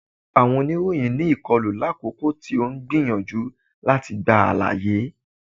Awọn onìròyìn ní ìkọlu, lakoko ti o n gbiyanju lati gba alaye.